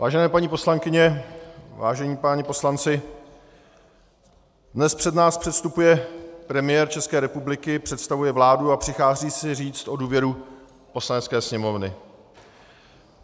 Vážené paní poslankyně, vážení páni poslanci, dnes před nás předstupuje premiér České republiky, představuje vládu a přichází si říct o důvěru Poslanecké sněmovny.